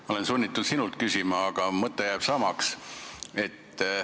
Ma olen sunnitud sinult küsima, aga mõte jääb samaks.